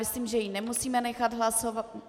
Myslím, že ji nemusíme nechat hlasovat.